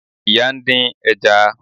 Ìyá ń dín ẹja